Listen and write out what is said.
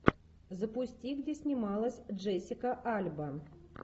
запусти где снималась джессика альба